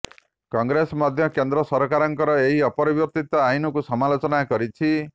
କଂଗ୍ରେସ ମଧ୍ୟ କେନ୍ଦ୍ର ସରକାରଙ୍କ ଏହି ପରିବର୍ତିତ ଆଇନକୁ ସମାଲୋଚନା କରିଛି